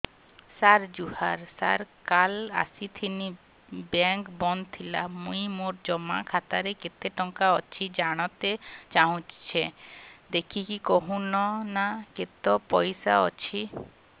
ସାର ଜୁହାର ସାର କାଲ ଆସିଥିନି ବେଙ୍କ ବନ୍ଦ ଥିଲା ମୁଇଁ ମୋର ଜମା ଖାତାରେ କେତେ ଟଙ୍କା ଅଛି ଜାଣତେ ଚାହୁଁଛେ ଦେଖିକି କହୁନ ନା କେତ ପଇସା ଅଛି